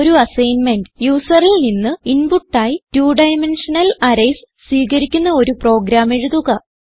ഒരു അസ്സൈന്മെന്റ് യൂസറിൽ നിന്ന് ഇൻപുട്ട് ആയി 2ഡൈമെൻഷണൽ അറേയ്സ് സ്വീകരിക്കുന്ന ഒരു പ്രോഗ്രാം എഴുതുക